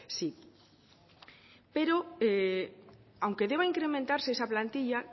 sí pero aunque deba incrementarse esa plantilla